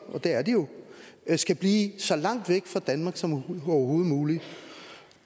og det er de jo skal blive så langt væk fra danmark som overhovedet muligt